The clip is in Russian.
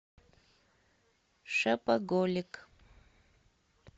шопоголик